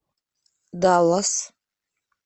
даллас